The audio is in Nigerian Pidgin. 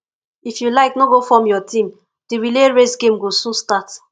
if you like no go form your team the relay race game go soon start